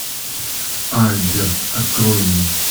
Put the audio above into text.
альберт открой мне